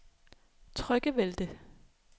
Tryggevælde